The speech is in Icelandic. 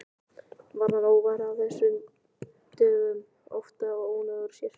Varð hann óvær af þessu dögum oftar og ónógur sér.